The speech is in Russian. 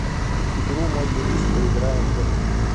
игру мой юрист поиграем в